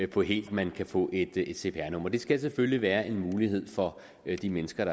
på helt at man kan få et cpr nummer det skal selvfølgelig være en mulighed for de mennesker